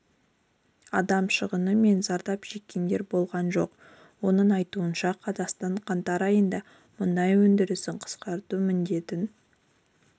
адам шығыны мен зардап шеккендер болған жоқ оның айтуынша қазақстан қаңтар айында мұнай өндірісін қысқарту міндетін